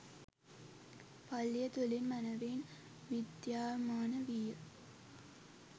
පල්ලිය තුළින් මැනවින් විද්‍යාමාන විය